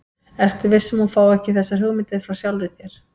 Ertu viss um, að hún fái ekki þessar hugmyndir frá sjálfri þér?